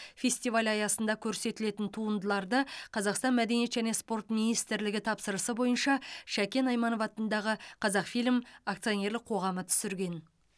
фестиваль аясында көрсетілетін туындыларды қазақстан мәдениет және спорт министрлігі тапсырысы бойынша шәкен айманов атындағы қазақфильм акционерлік қоғамы түсірген